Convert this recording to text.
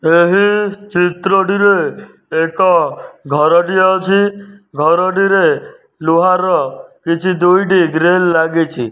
ଏହି ଚିତ୍ର ଟିରେ ଏକ ଘର ଟିଏ ଅଛି ଘର ଟିରେ ଲୁହାର କିଛି ଦୁଇଟି ଗ୍ରିଲ ଲାଗିଛି।